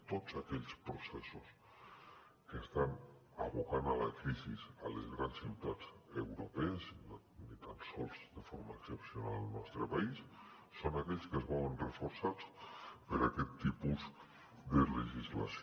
tots aquells processos que estan abocant a la crisi les grans ciutats europees ni tan sols de forma excepcional el nostre país són aquells que es veuen reforçats per aquest tipus de legislació